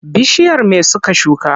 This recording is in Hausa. Bishiyar me suka shuka?